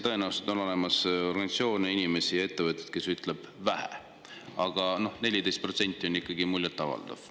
Tõenäoliselt on olemas organisatsioone, inimesi ja ettevõtteid, kes ütlevad, et seda on vähe, aga 14% on ikkagi muljetavaldav.